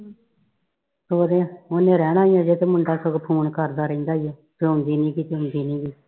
ਸਹੁਰੇ ਉਹਨੇ ਰਹਿਣਾ ਆ ਤੇ ਮੁੰਡਾ ਫੋਨ ਕਰਦਾ ਰਹਿੰਦਾ ਵਾ ਕਿ ਆਉਂਦੀ ਨੀ ਕੀ ਆਉਂਦੀ ਨੀ